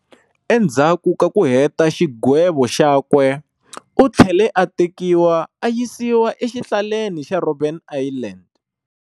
Endzaku ka ku heta xigwevo xakwe, u thlele a tekiwa ayisiwa e xihlaleni xa Robben Island.